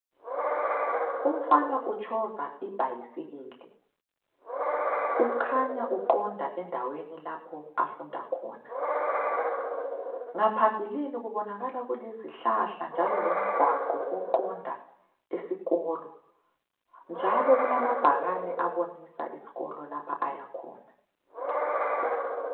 Umfana utshova ibhayisikili, ukhanya uqonda endaweni lapho afunda khona. Ngaphambilini kubonakala kulezihlahla njalo lomgwaqo oqonda esikolo, njalo kulamabhakane abonisa isikolo lapha ayakhona.